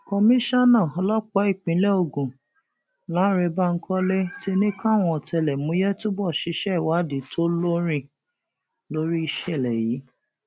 komisanna ọlọpàá ìpínlẹ ogun np lánrẹ bankole ti ní káwọn ọtẹlẹmúyẹ túbọ ṣiṣẹ ìwádìí tó lóòrín lórí ìṣẹlẹ yìí